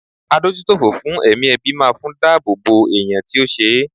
Adójútòfò fún ẹ̀mí ẹbí máa fún dá àbọ̀ bò ẹ̀yàn tí ó ṣe.